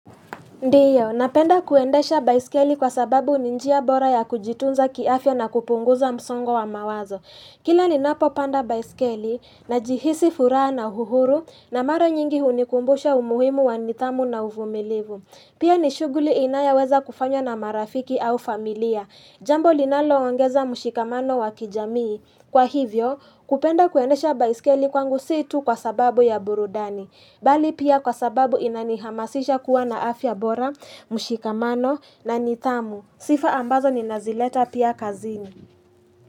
Ndio, napenda kuendesha baiskeli kwa sababu ni njia bora ya kujitunza kiafya na kupunguza msongo wa mawazo. Kila ninapo panda baiskeli, najihisi furaha na uhuru, na mara nyingi hunikumbusha umuhimu wa nidhamu na uvumilivu. Pia ni shughuli inayoweza kufanywa na marafiki au familia. Jambo linaloongeza mshikamano wa kijamii. Kwa hivyo, kupenda kuendesha baiskeli kwangu si tu kwa sababu ya burudani. Bali pia kwa sababu inanihamasisha kuwa na afya bora, mshikamano na nidhamu. Sifa ambazo ninazileta pia kazini.